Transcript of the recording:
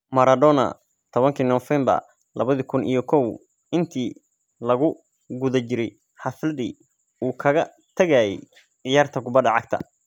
Maradona tawankii Nofeembar lawadhi kun iyo kow, intii lagu guda jiray xafladdii uu kaga tagayay ciyaarta kubadda cagta.